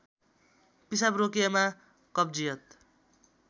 पिसाब रोकिएमा कब्जियत